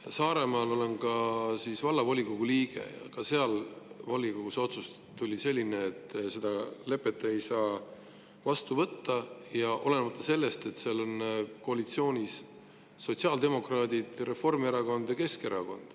Olen Saaremaa Vallavolikogu liige ja ka seal oli volikogus otsus selline, et seda lepet ei saa vastu võtta, ja seda vaatamata sellele, et seal on koalitsioonis sotsiaaldemokraadid, Reformierakond ja Keskerakond.